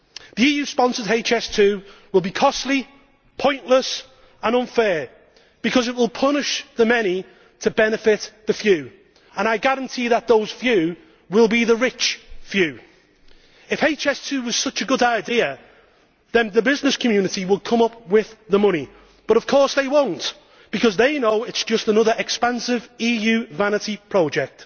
The EU sponsored HS2 will be costly, pointless and unfair, because it will punish the many to benefit the few, and I guarantee that those few will be the rich few. If HS2 were such a good idea, then the business community would come up with the money, but of course they will not because they know it is just another expensive EU vanity project.